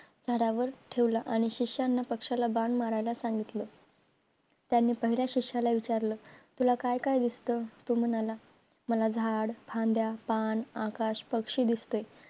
झाडावर ठेवला आणि शिष्याना पक्षाला बाण मारायला सांगितलं त्यांनी पहिल्या शिष्याला विचारलं तुला काय काय दिसत तो म्हणला मला झाड, फांद्या, पान, आकाश, पक्षी दिसते